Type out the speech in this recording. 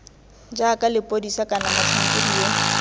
jaaka lepodisa kana motlhankedi yo